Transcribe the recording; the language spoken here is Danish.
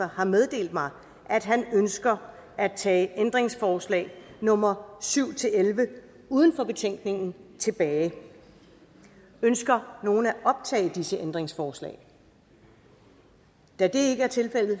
har meddelt mig at han ønsker at tage ændringsforslag nummer syv elleve uden for betænkningen tilbage ønsker nogen at optage disse ændringsforslag da det ikke er tilfældet